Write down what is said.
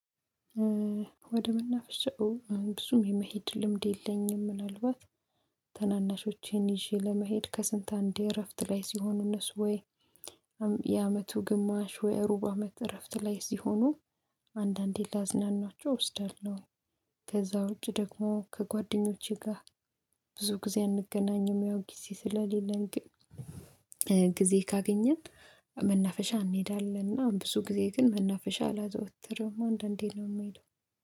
ወደ ምናፍሻ ብዙም የመሄድ ልምድ የለኝም። ምናልባት ተናናሾቼን ይዤ ለመሄድ ከስንት አንዴ እረፍት ላይ ሲሆን እነሱ ወይ የአመቱ ግማሽ ወይ ሩብ አመት እረፍት ላይ እዚህ ሆኖ አንዳንዴ ላዝናናቸው እወስዳለሁ። ከዛ ውጪ ደግሞ ከጓደኞቼ ጋር ብዙ ጊዜ አንገናኝም ያው ጊዜ ስለሌለን ግን ጊዜ ካገኘን መናፈሻ እንሄዳለን። እና ብዙ ጊዜ ግን መናፈሻ አላዘወትርም አንዳንዴ ነው የምሄደው።